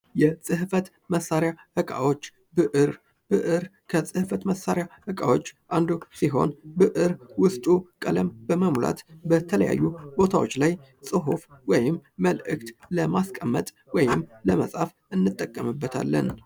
የጽህፈት መሳሪያ እቃዎች ብዕር ብዕር ከጽህፈት መሳሪያ እቃዎች አንዱ ሲሆን ብዕር ውስጡ ቀለም በመሙላት በተለያዩ ቦታዎች ላይ ጽሑፍ ወይም መልእክት ለማስቀመጥ ወይም ለመጻፍ እንጠቀምበታለን።